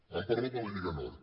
han parlat de la lliga nord